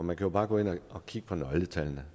man kan bare gå ind og kigge på nøgletallene